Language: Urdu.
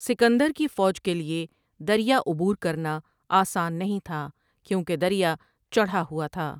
سکندر کی فوج کے لیے دریا عبور کرنا آسان نہیں تھا کیوں کہ دریا چڑھا ہوا تھا ۔